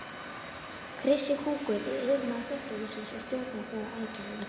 Krissi kúkur er yfirmaður þvottahússins og stjórnar þar aðgerðum.